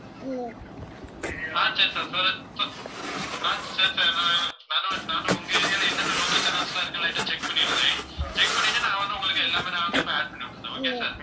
ஆஹ் சரி sir ah சரி sir நானு~நானு~ நானும் உங்க area ல என்னென்ன local channels எல்லாம் இருக்குன்னு light ஆ, check பண்ணிடறேன். check பண்ணிட்டு நான் வந்து உங்களுக்கு எல்லாமே நான் வந்து இப்ப add பண்ணி விட்டறேன் okay sir